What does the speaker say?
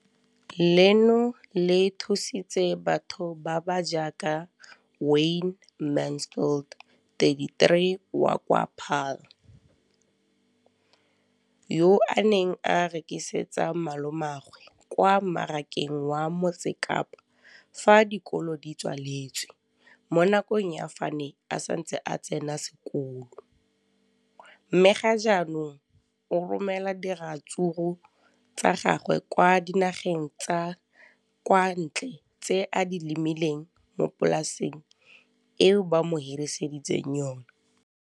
leno le thusitse batho ba ba jaaka Wayne Mansfield, 33, wa kwa Paarl, yo a neng a rekisetsa malomagwe kwa Marakeng wa Motsekapa fa dikolo di tswaletse, mo nakong ya fa a ne a santse a tsena sekolo, mme ga jaanong o romela diratsuru tsa gagwe kwa dinageng tsa kwa ntle tseo a di lemileng mo polaseng eo ba mo hiriseditseng yona.